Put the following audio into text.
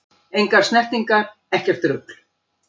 Engar snertingar, ekkert rugl!